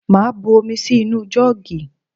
Màá bu omi sí inú jọ́ọ̀gì